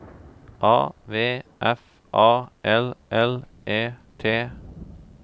A V F A L L E T